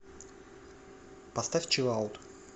поставь чилаут